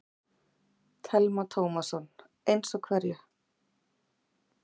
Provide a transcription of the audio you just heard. Telma Tómasson: Eins og hverju?